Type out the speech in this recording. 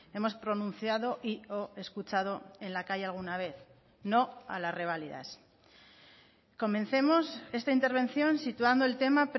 hemos pronunciado y o escuchado en la calle alguna vez no a las revalidas comencemos esta intervención situando el tema